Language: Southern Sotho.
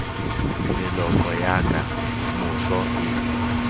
meloko ya ka moso e